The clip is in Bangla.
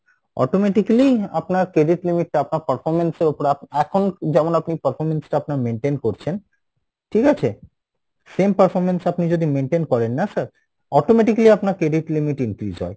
automatically আপনার credit limit টা আপনার performance এর ওপর এখন যেমন আপনি performance টা আপনার maintain করছেন ঠিক আছে? same performance আপনি যদি maintain করেন না sir, automatically আপনার credit limit increase হয়